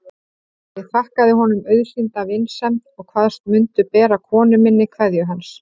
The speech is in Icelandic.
Ég þakkaði honum auðsýnda vinsemd og kvaðst mundu bera konu minni kveðju hans.